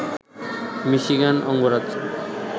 Michigan অঙ্গরাজ্য